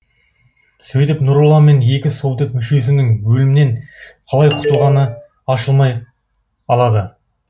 сөйтіп нұролла мен екі совдеп мүшесінің өлімнен қалай құтылғаны ашылмай алады